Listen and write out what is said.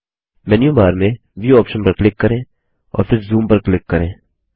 menu bar में Viewऑप्शन पर क्लिक करें और फिर ज़ूम पर क्लिक करें